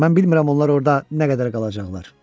Mən bilmirəm onlar orada nə qədər qalacaqlar.